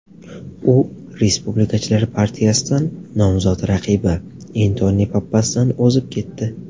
U respublikachilar partiyasidan nomzod raqibi Entoni Pappasdan o‘zib ketdi.